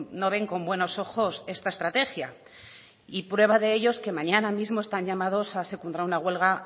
no ven con buenos ojos esta estrategia y prueba de ello que mañana mismo están llamados a secundar una huelga